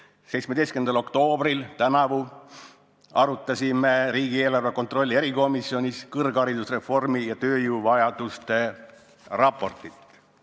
" Tänavu 17. oktoobril arutasime riigieelarve kontrolli erikomisjonis kõrgharidusreformi ja tööjõuvajaduste raportit.